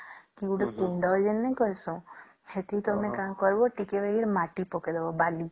କି ଗୋଟେ କୁଣ୍ଡ ଜେନେକରି ନେଇସା ସେଠି ତମେ କଣ କରିବା ଟିକେ ମାଟି ପକେଇ ଦବ ଵାଲୀ